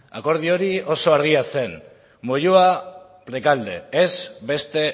akordio hori oso argia zen moyua rekalde ez beste